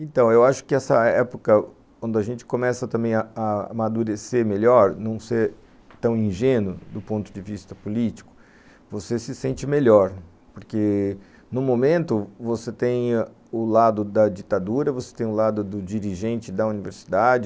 Então, eu acho que essa época onde a gente começa também a a amadurecer melhor, não ser tão ingênuo do ponto de vista político, você se sente melhor, porque...no momento você tem o lado da ditadura, você tem o lado do dirigente da universidade,